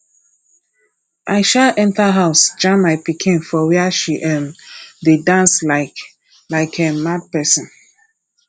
i um enter house jam my pikin for where she um dey dance like like um mad person